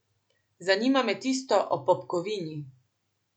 Zanima me tisto o popkovini.